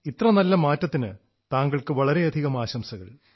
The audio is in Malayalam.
ഇത്ര നല്ല പരിണാമത്തിന് താങ്കൾക്ക് വളരെയധികം ആശംസകൾ